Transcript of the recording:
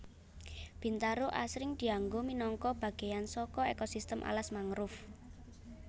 Bintaro asring dianggo minangka bagéyan saka ekosistem alas mangrove